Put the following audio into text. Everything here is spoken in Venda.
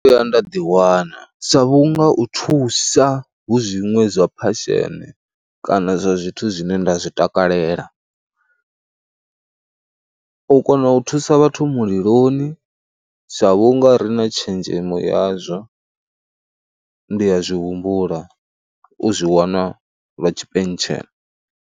Ndo vhuya nda ḓiwana sa vhunga u thusa hu zwiṅwe zwa phasheni kana zwa zwithu zwine nda zwi takalela, u kona u u thusa vhathu muliloni sa vhunga ri na tshenzhemo yazwo, ndi ya zwi humbula u zwi wana lwa tshipentshela.